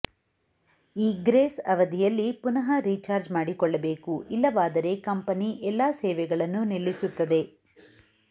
ಈ ಗ್ರೇಸ್ ಅವಧಿಯಲ್ಲಿ ಪುನಃ ರಿಚಾರ್ಜ್ ಮಾಡಿಕೊಳ್ಳಬೇಕು ಇಲ್ಲವಾದರೆ ಕಂಪನಿ ಎಲ್ಲಾ ಸೇವೆಗಳನ್ನು ನಿಲ್ಲಿಸುತ್ತದೆ